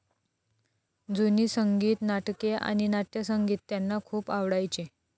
जुनी संगीत नाटके आणि नाटयसंगीत त्यांना खूप आवडायचे.